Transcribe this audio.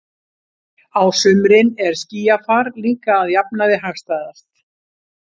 Á sumrin er skýjafar líka að jafnaði hagstæðast.